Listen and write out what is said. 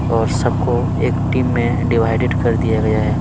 और सबको एक टीम में डिवाइडेड कर दिया गया है।